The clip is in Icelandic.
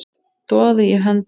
Doði í höndum